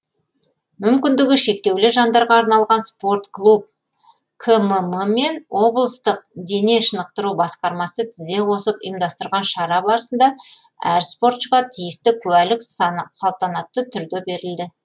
мүмкіндігі шектеулі жандарға арналған спорт клуб кмм мен облыстық дене шынықтыру басқармасы тізе қосып ұйымдастырған шара барысында әр спортшыға тиісті куәлік салтанатты түрде берілді